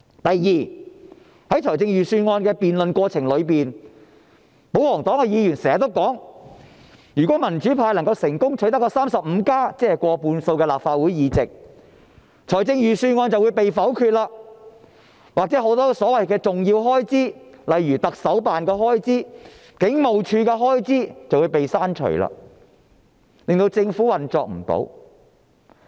第二，在預算案的辯論過程中，保皇黨的議員經常說，如果民主派能夠成功取得 "35+"， 即立法會過半數議席，預算案便會遭否決，又或很多所謂的重要開支，例如行政長官辦公室或警務處的開支，便會被刪除，令政府無法運作。